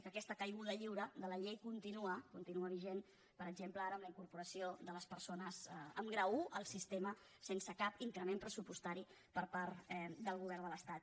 i aquesta caiguda lliure de la llei continua vigent per exemple ara amb la incorporació de les persones amb grau un al sistema sense cap increment pressupostari per part del govern de l’estat